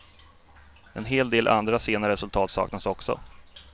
En hel del andra sena resultat saknas också.